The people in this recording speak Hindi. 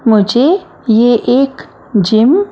मुझे ये एक जिम --